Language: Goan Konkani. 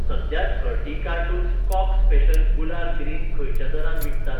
सध्या थर्टी कार्टून्स कॉक स्पेशल गुलाल ग्रीन खंयच्या दरान विकतात?